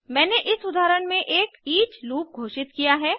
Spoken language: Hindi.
मैंने इस उदाहरण में एक ईच लूप घोषित किया है